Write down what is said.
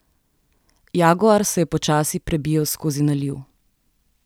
Jaguar se je počasi prebijal skozi naliv.